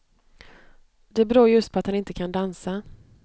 Det beror just på att han inte kan dansa.